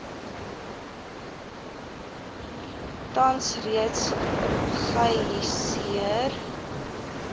tans reeds geihisieer